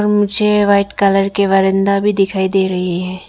मुझे white colour के बरंदा भी दिखाई दे रही है।